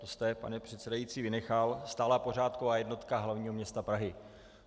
To jste, pane předsedající, vynechal - stálá pořádková jednotka hlavního města Prahy.